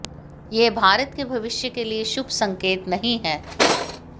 यह भारत के भविष्य के लिए शुभ संकेत नहीं है